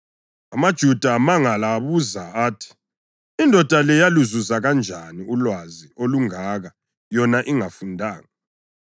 AmaJuda amangala, abuza athi, “Indoda le yaluzuza kanjani ulwazi olungaka yona ingafundanga?”